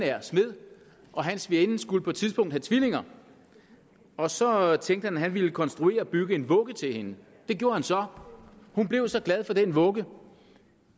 er smed hans svigerinde skulle på et tidspunkt have tvillinger og så tænkte han at han ville konstruere og bygge en vugge til hende det gjorde han så hun blev så glad for den vugge